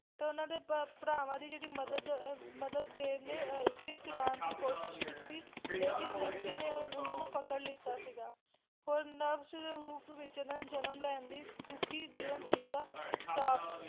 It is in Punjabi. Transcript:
ਤੇ ਉਹਨਾਂ ਦੇ ਭ ਭਰਾਵਾਂ ਦੀ ਜਿਹੜੀ ਮੱਦਦ ਅਹ ਮੱਦਦ ਦੇਵ ਨੇ ਫਿਰ ਚੁਰਾਉਣ ਦੀ ਕੋਸ਼ਿਸ਼ ਕੀਤੀ ਲੇਕਿਨ ਵਸ਼ਿਸ਼ਠੀ ਨੇ ਉਹਨਾਂ ਨੂੰ ਪਕੜ ਲੀਤਾ ਸੀਗਾ ਔਰ ਨਵਸ਼ ਦੇ ਰੂਪ ਵਿੱਚ ਉਹਨਾਂ ਨੇ ਜਨਮ ਲੈਣ ਦੀ ਦੁੱਖੀ ਜੀਵਨ ਜੀਣ ਦਾ ਸ਼ਰਾਪ